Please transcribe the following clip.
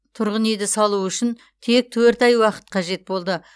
тұрғын үйді салу үшін тек төрт ай уақыт қажет болды